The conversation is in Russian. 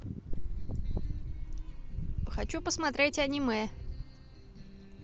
хочу посмотреть аниме